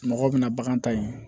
Mɔgɔw bɛna bagan ta in